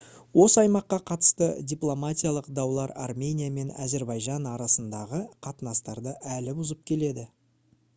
осы аймаққа қатысты дипломатиялық даулар армения мен әзірбайжан арасындағы қатынастарды әлі бұзып келеді